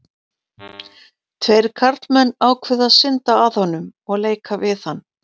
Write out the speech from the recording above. tveir karlmenn ákváðu að synda að honum og leika við hann